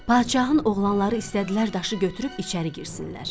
Padşahın oğlanları istədilər daşı götürüb içəri girsinlər.